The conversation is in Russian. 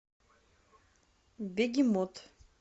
бегемот